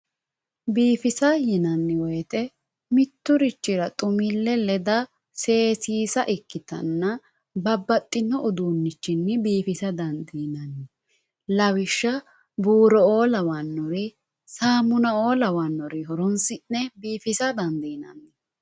biifissa yinanni woyiite mitturichira xumille leda seesiisa ikkitanna babbaxxino udunnichinni biifisa dandiinanni lawishsha borro lawanori samuna"o lawannore horonsi'ne biifisa dandiinanni